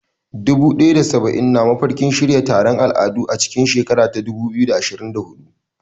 Dubu ɗaya da saba'in na mafarkin shirya taron musayar al'adu a cikin shekarar 2024.